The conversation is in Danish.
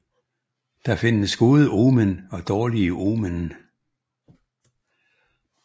Der findes gode omen og dårlige omen